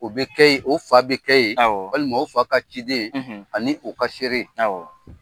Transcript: O bɛ kɛ yi, o fa bɛ kɛ yi, awɔ , walima o fa ka ciden ani u ka seere. Awɔ.